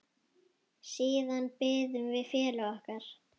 Siðan biðum við félaga okkar.